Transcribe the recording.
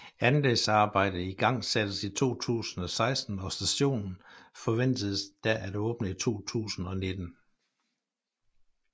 Anlægsarbejdet igangsattes i 2016 og stationen forventedes da at åbne i 2019